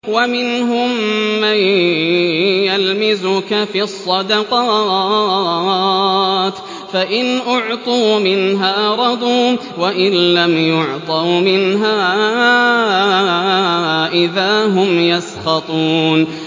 وَمِنْهُم مَّن يَلْمِزُكَ فِي الصَّدَقَاتِ فَإِنْ أُعْطُوا مِنْهَا رَضُوا وَإِن لَّمْ يُعْطَوْا مِنْهَا إِذَا هُمْ يَسْخَطُونَ